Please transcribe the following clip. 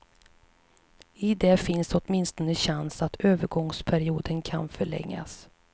I det finns åtminstone chansen att övergångsperioden kan förlängas.